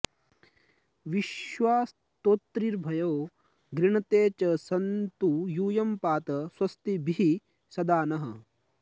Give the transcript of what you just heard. विश्वा॑ स्तो॒तृभ्यो॑ गृण॒ते च॑ सन्तु यू॒यं पा॑त स्व॒स्तिभिः॒ सदा॑ नः